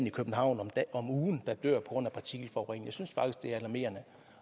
i københavn en om ugen der dør på grund af partikelforurening